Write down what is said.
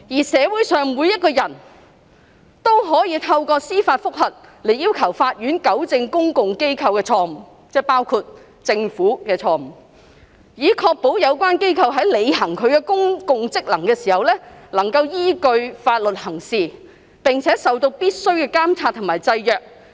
社會上每一個人都可以透過司法覆核來要求法院糾正公共機構的錯誤"——即包括了政府的錯誤——"以確保有關機構在履行其公共職能時能根據法律行事，並且受到必須的監察及制約。